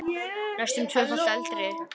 Næstum tvöfalt eldri.